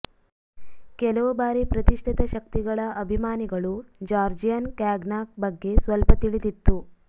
ಕೆಲವು ಬಾರಿ ಪ್ರತಿಷ್ಠಿತ ಶಕ್ತಿಗಳ ಅಭಿಮಾನಿಗಳು ಜಾರ್ಜಿಯನ್ ಕಾಗ್ನ್ಯಾಕ್ ಬಗ್ಗೆ ಸ್ವಲ್ಪ ತಿಳಿದಿತ್ತು